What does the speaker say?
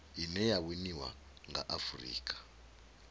ine ya winiwa nga afurika